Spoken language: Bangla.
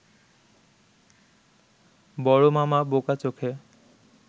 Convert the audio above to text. বড় মামা বোকা চোখে